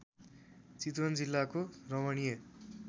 चितवन जिल्लाको रमणीय